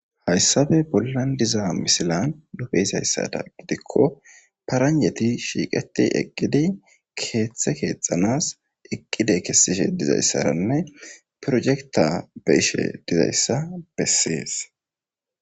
hayssabe bollan diza misilan nufe izayssada gidikko paranjeti shiiqeti eqqidi keeththe keexanas eqqide kessishe dizayssaranne projekta be ishe dizayssa bessees